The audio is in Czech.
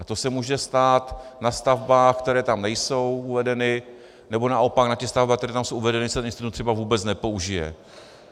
A to se může stát na stavbách, které tam nejsou uvedeny, nebo naopak na těch stavbách, které tam jsou uvedeny, se ten institut třeba vůbec nepoužije.